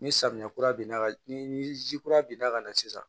Ni samiya kura bin na ni ni ji kura benna ka na sisan